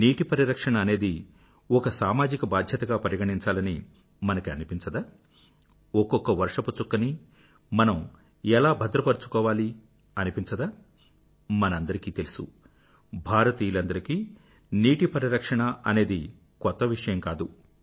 నీటి పరిరక్షణ అనేది ఒక సామాజిక బాధ్యతగా పరిగణించాలని మనకి అనిపించదా ఒక్కొక్క వర్షపు చుక్కనీ మనం ఎలా భద్రపరుచుకోవాలి అనిపించదామనందరికీ తెలుసు భారతీయులందరికీ నీటి పరిరక్షణ అనేది కొత్త విషయం కాదు